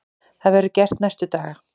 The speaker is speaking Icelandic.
Það verður gert næstu daga.